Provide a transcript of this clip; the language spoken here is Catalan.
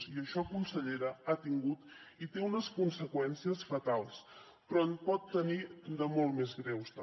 i això consellera ha tingut i té unes conseqüències fatals però en pot tenir de molt més greus també